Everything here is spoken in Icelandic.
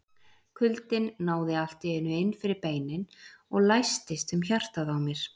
Kuldinn náði allt í einu inn fyrir beinin og læstist um hjartað á mér.